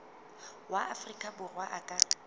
wa afrika borwa a ka